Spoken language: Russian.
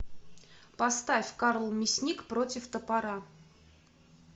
поставь карл мясник против топора